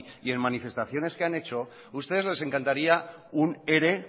y en manifestaciones que han hecho ustedes les encantaría un ere